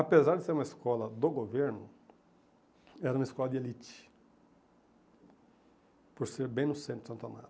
Apesar de ser uma escola do governo, era uma escola de elite, por ser bem no centro de Santo Amaro.